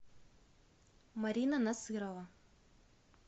марина насырова